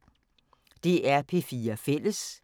DR P4 Fælles